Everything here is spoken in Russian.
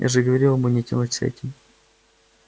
я же говорил ему не тянуть с этим